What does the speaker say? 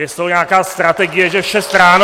Je z toho nějaká strategie, že v šest ráno...